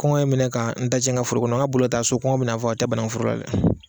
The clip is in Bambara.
Kɔngɔ ye n minɛ ka n dajɛ n ka foro kɔnɔ n ka boli ka taa so kɔngɔ bɛna n faga o tɛ banangun foro la dɛ.